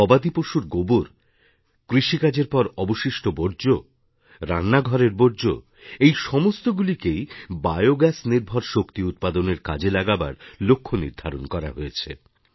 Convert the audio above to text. গবাদি পশুর গোবর কৃষিকাজের পর অবশিষ্ট বর্জ্য রান্নাঘরের বর্জ্য এই সমস্তগুলিকেই বায়ো গ্যাস নির্ভর শক্তি উৎপাদনের কাজে লাগাবার লক্ষ্য নির্ধারণ করা হয়েছে